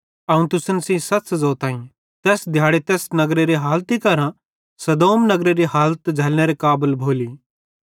अवं तुसन सेइं सच़ ज़ोताईं तैस दिहाड़े तैस नगरेरी हालत सदोम नगरेरी हालत झ़ैल्लनेरे काबल भोली